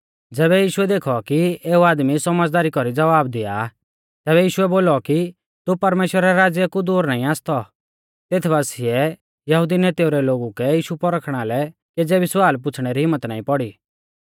ज़ैबै यीशुऐ देखौ कि एऊ आदमी सौमझ़दारी कौरी ज़वाब दिआ आ तैबै यीशुऐ बोलौ कि तू परमेश्‍वरा रै राज़्या कु दूर नाईं आसतौ तेथ बासिऐ यहुदी नेतेउ रै लोगु कै यीशु पौरखणा लै केज़ै भी स्वाल पुछ़णै री हिम्मत नाईं पौड़ी